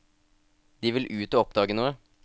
De vil ut å oppdage noe.